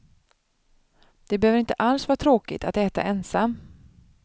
Det behöver inte alls vara tråkigt att äta ensam.